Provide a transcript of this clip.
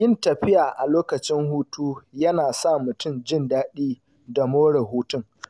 Yin tafiya a lokacin hutu yana sa mutum jin daɗi da more hutun.